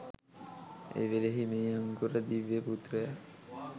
එවෙලෙහි මේ අංකුර දිව්‍ය පුත්‍රයා